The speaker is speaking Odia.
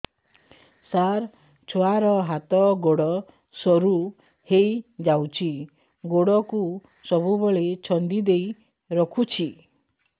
ସାର ଛୁଆର ହାତ ଗୋଡ ସରୁ ହେଇ ଯାଉଛି ଗୋଡ କୁ ସବୁବେଳେ ଛନ୍ଦିଦେଇ ରଖୁଛି